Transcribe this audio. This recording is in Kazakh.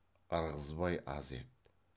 ырғызбай аз еді